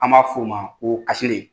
An b'a f'o ma ko asele